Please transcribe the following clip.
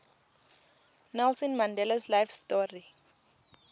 nelson mandelas life story